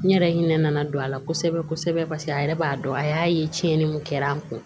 N yɛrɛ hinɛ nana don a la kosɛbɛ kosɛbɛ paseke a yɛrɛ b'a dɔn a y'a ye tiɲɛni min kɛra an kun